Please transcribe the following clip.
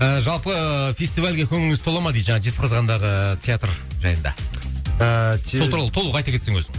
ы жалпы фестивальге көңіліңіз тола ма дейді жаңағы жезказғандағы театр жайында ыыы сол туралы толық айта кетсең өзің